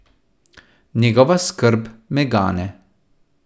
Njegova skrb me gane.